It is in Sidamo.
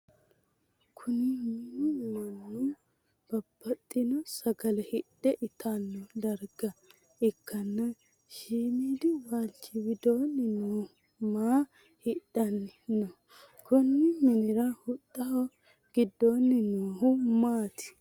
Kunni minu mannu babbaxino sagale hidhe itanno darga ikkanna shimiidi walchi widoonni noohu maa hidhanni no? konni minnira huxaho gidoonni noohu maati?